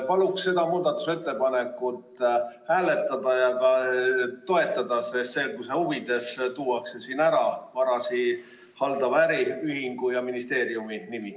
Palun seda muudatusettepanekut hääletada ja toetada, sest selguse huvides tuuakse siin ära varasid haldava äriühingu ja ministeeriumi nimi.